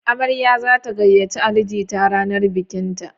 Amarya za ta gayyace Ali jita ranar bikinta.